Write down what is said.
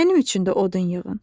Mənim üçün də odun yığın.